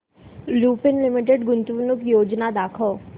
Lupin limited गुंतवणूक योजना दाखव